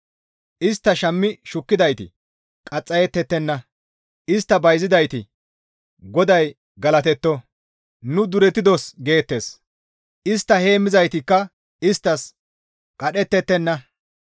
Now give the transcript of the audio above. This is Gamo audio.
Istta shammi shukkidayti qaxxayettettenna; istta bayzidayti, ‹GODAY galatetto; nu duretidos› geettes. Istta heemmizaytikka isttas qadhettettenna.